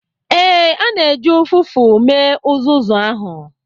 Ee, a na-eji ụfụfụ mee uzuzu ahụ.